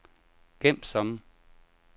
gem som